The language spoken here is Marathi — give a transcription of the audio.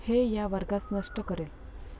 हे या वर्गास नष्ट करेल!